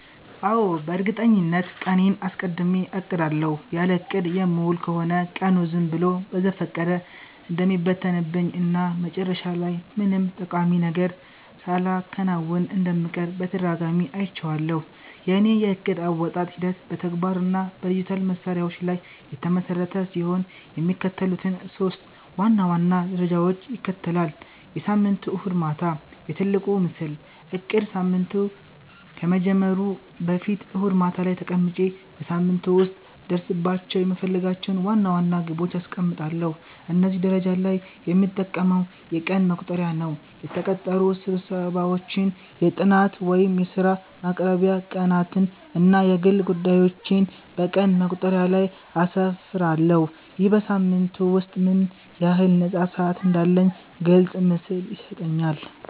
አዎ፣ በእርግጠኝነት ቀኔን አስቀድሜ አቅዳለሁ። ያለ እቅድ የምውል ከሆነ ቀኑ ዝም ብሎ በዘፈቀደ እንደሚበተንብኝ እና መጨረሻ ላይ ምንም ጠቃሚ ነገር ሳላከናውን እንደምቀር በተደጋጋሚ አይቼዋለሁ። የእኔ የዕቅድ አወጣጥ ሂደት በተግባር እና በዲጂታል መሣሪያዎች ላይ የተመሰረተ ሲሆን፣ የሚከተሉትን ሶስት ዋና ዋና ደረጃዎች ይከተላል፦ የሳምንቱ እሁድ ማታ፦ "የትልቁ ምስል" እቅድ ሳምንቱ ከመጀመሩ በፊት እሁድ ማታ ላይ ተቀምጬ በሳምንቱ ውስጥ ልደርስባቸው የምፈልጋቸውን ዋና ዋና ግቦች አስቀምጣለሁ። እዚህ ደረጃ ላይ የምጠቀመው የቀን መቁጠሪያ ነው። የተቀጠሩ ስብሰባዎችን፣ የጥናት ወይም የሥራ ማቅረቢያ ቀናትን እና የግል ጉዳዮቼን በቀን መቁጠሪያው ላይ አስፍራለሁ። ይህ በሳምንቱ ውስጥ ምን ያህል ነፃ ሰዓት እንዳለኝ ግልጽ ምስል ይሰጠኛል።